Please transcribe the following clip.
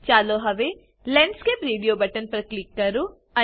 ચાલો હવે landscape radio button પર ક્લિક કરો